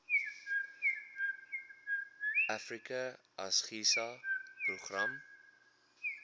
africa asgisa program